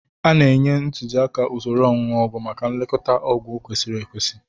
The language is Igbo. A na-enye ntuziaka usoro onunu ogwu maka nlekọta ọgwụ kwesịrị ekwesị.